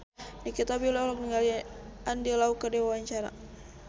Nikita Willy olohok ningali Andy Lau keur diwawancara